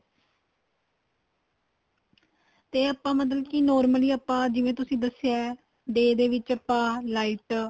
ਤੇ ਆਪਾਂ ਮਤਲਬ ਕੀ normally ਜਿਵੇਂ ਤੁਸੀਂ ਦੱਸਿਆਂ ਏ day ਦੇ ਵਿੱਚ ਆਪਾਂ light